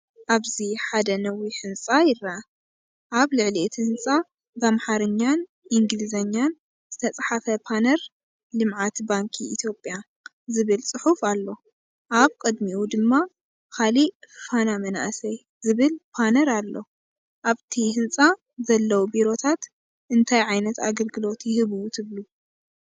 ኣብዚ ሓደ ነዊሕ ህንጻ ይርአ። ኣብ ልዕሊ እቲ ህንፃ ብኣምሓርኛን እንግሊዝኛን ዝተፅሓፈ ፓነር “ልምዓት ባንኪ ኢትዮጵያ” ዝብል ጽሑፍ ኣሎ። ኣብ ቅድሚኡ ድማ ካልእ “ፋና መንእሰይ” ዝብል ፓነር ኣሎ። ኣብዚ ህንጻ ዘለዉ ቢሮታት እንታይ ዓይነት ኣገልግሎት ይህቡ ትብሉ?